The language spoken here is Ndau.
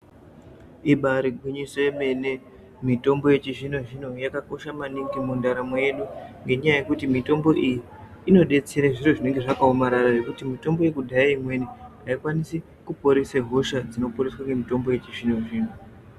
Ibare gwinyiso yemene, mitombo yechizvino zvino yakakosha maningi muntaramo yedu ,ngenyaya yekuti mitombo iyi inodetsere zvinhu zvinenge zvakawomarara ngekuti mitombo yekudhaya imweni hayikwanisi kuporese hosha dzinoporeswe nemitombo yechizvino zvino.